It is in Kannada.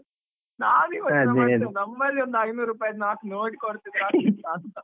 ನಮ್ಮಲ್ಲಿ ಒಂದು ಐನೂರು ರೂಪಾಯಿದ್ದು ನಾಲ್ಕು note ಕೊಡ್ತಿದ್ರೆ, ಆಗ್ತಿತ್ತಾ ಅಂತ.